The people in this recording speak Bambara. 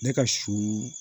Ne ka su